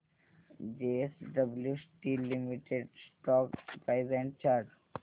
JSW steel limited stock price and chart